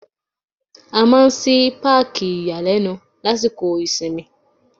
A máa ń ṣí Páàkì ìyàlẹ́nu lásìkò ìsinmi.